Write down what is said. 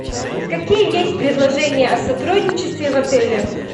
какие есть предложения о сотрудничестве в отеле